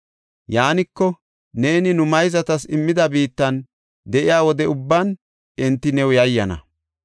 Yaaniko, neeni nu mayzatas immida biittan de7iya wode ubban enti new yayyana.